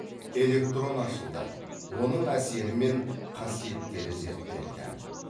электрон ашылды оның әсері мен қасиеттері зерттелді